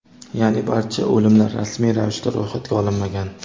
ya’ni barcha o‘limlar rasmiy ravishda ro‘yxatga olinmagan.